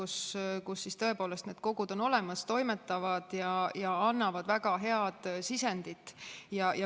Seal on tõepoolest need kogud olemas, toimetavad ja annavad väga head sisendit.